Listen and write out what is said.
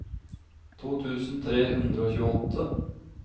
to tusen tre hundre og tjueåtte